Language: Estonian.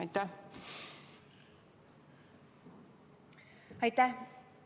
Aitäh!